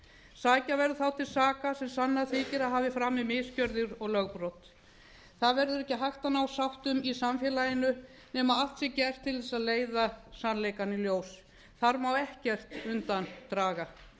sækja verður þá til saka sem sannað þykir að hafi framið misgjörðir og lögbrot það verður ekki hægt að ná sáttum í samfélaginu nema allt sé gert til þess að leiða sannleikann í ljós þar má ekkert undan draga